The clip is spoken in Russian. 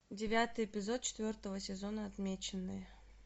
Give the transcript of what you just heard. девятый эпизод четвертого сезона отмеченные